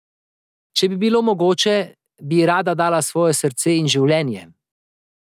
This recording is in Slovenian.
Če bi bilo mogoče, bi ji rada dala svoje srce in življenje.